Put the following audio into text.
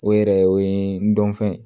O yɛrɛ o ye n dɔnfɛn